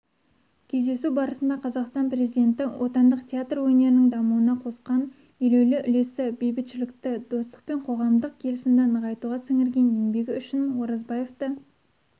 кездесу барысында қазақстан президенті отандық театр өнерінің дамуына қосқан елеулі үлесі бейбітшілікті достық пен қоғамдық келісімді нығайтуға сіңірген еңбегі үшін оразбаевты